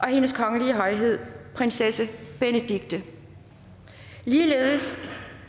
hendes kongelige højhed prinsesse benedikte ligeledes